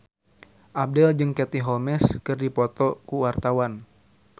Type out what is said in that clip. Abdel jeung Katie Holmes keur dipoto ku wartawan